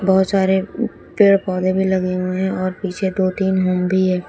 बहोत सारे पेड़ पौधे भी लगे हुए हैं और पीछे दो तीन होम भी है।